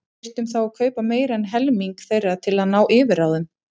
Við þyrftum þá að kaupa meira en helming þeirra til að ná yfirráðum.